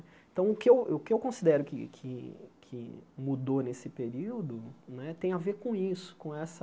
Então, o que eu o que eu considero que que que mudou nesse período né tem a ver com isso, com essa